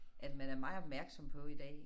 At man er meget opmærksom på i dag